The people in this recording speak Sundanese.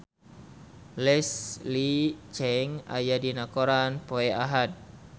Leslie Cheung aya dina koran poe Ahad